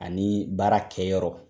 Ani baara kɛyɔrɔ